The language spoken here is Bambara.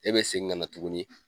E be segin ga na tuguni